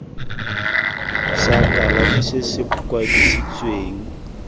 sa kalafi se se kwadisitsweng